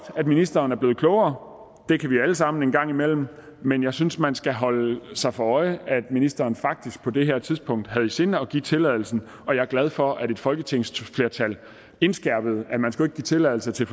at ministeren er blevet klogere det kan vi alle sammen blive en gang imellem men jeg synes at man skal holde sig for øje at ministeren faktisk på det her tidspunkt havde i sinde at give tilladelsen jeg er glad for at et folketingsflertal indskærpede at man ikke skulle give tilladelse til